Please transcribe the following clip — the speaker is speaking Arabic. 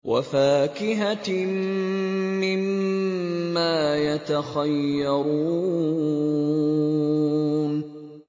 وَفَاكِهَةٍ مِّمَّا يَتَخَيَّرُونَ